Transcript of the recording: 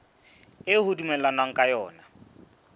eo ho dumellanweng ka yona